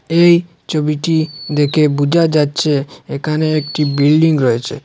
এই ছবিটি দেখে বোঝা যাচ্ছে এখানে একটি বিল্ডিং রয়েছে।